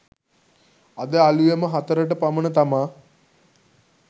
අද අලුයම හතරට පමණ තමා